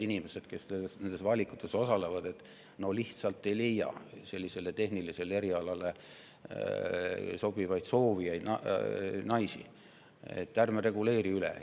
Inimesed, kes nende valikute tegemisel osalevad, on mulle öelnud, et nad ei leia sellistele tehnilistele erialadele sobivaid naisi, ärme reguleeri üle.